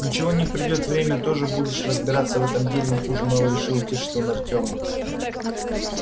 ничего не придёт время тоже будешь разбираться в этом деле не хуже моего решил утешить он артёма